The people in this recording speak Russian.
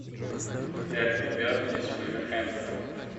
дерби бернли с вулверхэмптоном